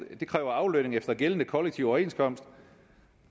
det kræver aflønning efter gældende kollektiv overenskomst